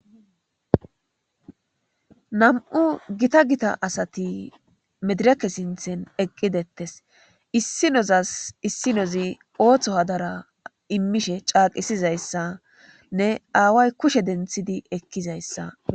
Na,mu gita gita asati medireke sintan eqidi detees isinozas isinozi osuwa imishe ca,qisidayisanne awayi kushe dentidi ekizayisa besees